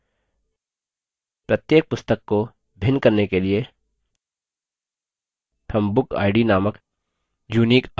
प्रत्येक पुस्तक को भिन्न करने के लिए हम bookid नामक unique identifier column भी जोड़ते हैं